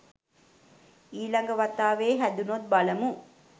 ඊ ළඟ වතාවේ හැදුනොත් බලමු.